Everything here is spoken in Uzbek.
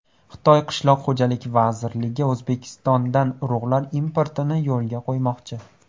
Xitoy qishloq xo‘jaligi vazirligi O‘zbekistondan urug‘lar importini yo‘lga qo‘ymoqchi.